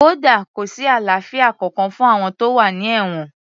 Kódà kò sí àlàáfíà kankan fún àwọn tó wà ní èwọ̀n